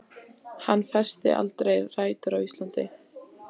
Hann festir aldrei rætur á Íslandi.